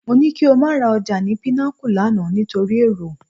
Mo ní kí o má ra ọjà ni Pinnacle lánàá nítorí èrò